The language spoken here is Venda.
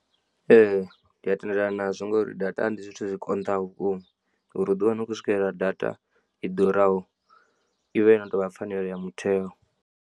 Ee ndi a tendelana nazwo ngori data ndi zwithu zwi konḓaho vhukuma uri uḓi wane u khou swikelela data i ḓuraho ivha yo no tovha pfhanelo ya mutheo.